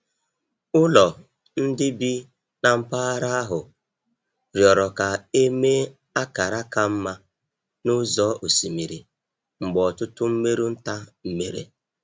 Ụlọ ndị bi na mpaghara ahụ rịọrọ ka e mee akara ka mma n’ụzọ osimiri mgbe ọtụtụ mmerụ nta mere.